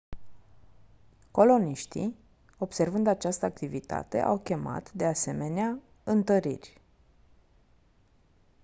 coloniștii observând această activitate au chemat de asemenea întăriri